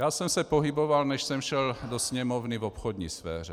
Já jsem se pohyboval, než jsem šel do Sněmovny, v obchodní sféře.